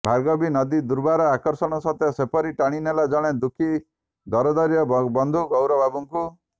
ଭାର୍ଗବୀ ନଦୀର ଦୁର୍ବାର ଆକର୍ଷଣ ସତେ ଯେପରି ଟାଣି ନେଲା ଜଣେ ଦୁଃଖୀ ଦରଦୀର ବନ୍ଧୁ ଗୌରବାବୁଙ୍କୁ